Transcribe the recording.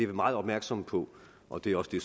vi meget opmærksomme på og det er også det